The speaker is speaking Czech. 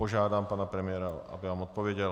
Požádám pana premiéra, aby nám odpověděl.